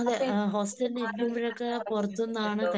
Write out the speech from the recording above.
അപ്പൊ ഈ ആരോഗ്യ പ്രേശ്നങ്ങൾ ഒക്കെ വന്നിട്ടു ഉണ്ടോ ?